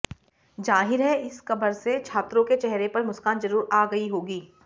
जाहिर है इस खबर से छात्रों के चेहरे पर मुस्कान जरूर आ गई होगी